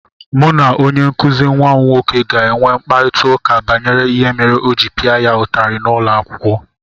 Mụ na onye nkụzi nwa m nwoke ga-enwe mkparịta ụka banyere ihe mere o ji pịa ya ụtarị n’ụlọ akwụkwọ.